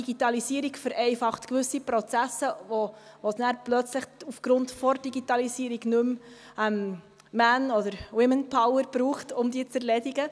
Ja, die Digitalisierung vereinfacht gewisse Prozesse, wo es dann plötzlich aufgrund der Digitalisierung nicht mehr Man- oder Womanpower braucht, um sie zu erledigen.